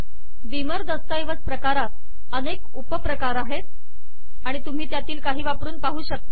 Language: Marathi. बीमर दस्तऐवज प्रकारात अनेक उपप्रकार आहेत आणि तुम्ही त्यातील काही वापरून पाहू शकता